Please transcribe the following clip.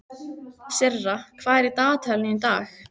Sirra, hvað er í dagatalinu í dag?